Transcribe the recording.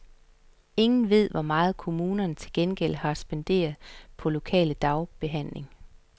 Ingen ved, hvor meget kommunerne til gengæld har spenderet på lokal dagbehandling.